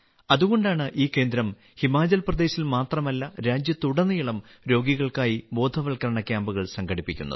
അതുകൊണ്ടാണ് ഈ കേന്ദ്രം ഹിമാചൽ പ്രദേശിൽ മാത്രമല്ല രാജ്യത്തുടനീളം രോഗികൾക്കായി ബോധവത്കരണ ക്യാമ്പുകൾ സംഘടിപ്പിക്കുന്നത്